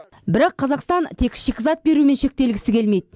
бірақ қазақстан тек шикізат берумен шектелгісі келмейді